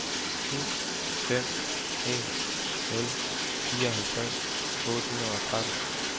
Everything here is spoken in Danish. syv fem en nul fireoghalvtreds otte hundrede og tretten